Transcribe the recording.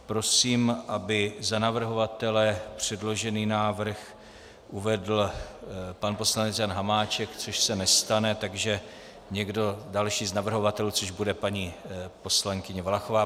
Prosím, aby za navrhovatele předložený návrh uvedl pan poslanec Jan Hamáček - což se nestane, takže někdo další z navrhovatelů, což bude paní poslankyně Valachová.